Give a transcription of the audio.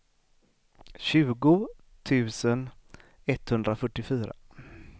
tjugo tusen etthundrafyrtiofyra